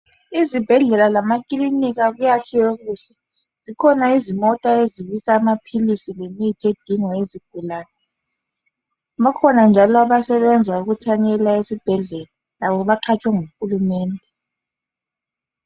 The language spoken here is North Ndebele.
Izibhedlela lamakilinika kuyakhiwe kuhle. Zikhona izimota ezibisa amaphilisi lemithi edingwa yizigulani. Bakhona njalo abasebenza ukuthanyela esibhedlela labo baqatshwe nguhulumende.